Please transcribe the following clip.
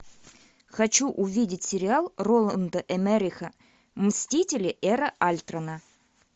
хочу увидеть сериал роланда эммериха мстители эра альтрона